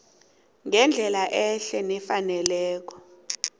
ngendlela ehle nefaneleko